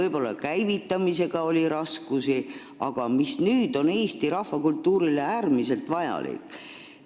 Selle käivitamisega oli võib-olla raskusi, aga nüüd on see Eesti rahvakultuurile äärmiselt vajalik.